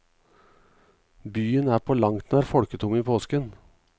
Byen er på langt nær folketom i påsken.